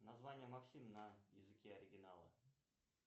название максим на языке оригинала